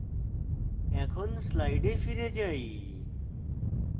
এখন slides ফিরে যাই